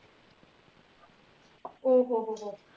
ਓਹ ਹੋ ਹੋ